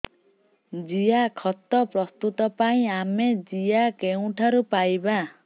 ଜିଆଖତ ପ୍ରସ୍ତୁତ ପାଇଁ ଆମେ ଜିଆ କେଉଁଠାରୁ ପାଈବା